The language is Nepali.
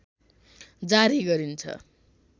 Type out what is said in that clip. जारी गरिन्छ